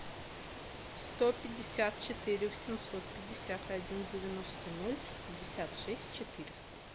сто пятьдесят четыре семьсот пятьдесят один девяносто ноль пятьдесят шесть четыреста